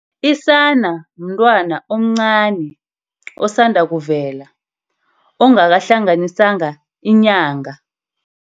Isana mntwana omncani, osandakuvela. Okungakahlanganiswa inyanga.